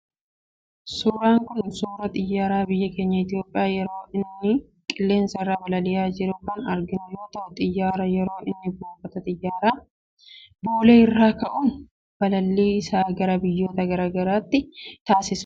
Suuraan kun, suuraa xiyyaara biyya keenya Itoophiyaa yeroo inni qilleensa irra balali'aa jiru kan arginu yoo ta'u, xiyyaarri yeroo inni buufata xiyyaaraa boolee irraa ka'uun balallii isaa gara biyyoota garagaraatti taasisuha.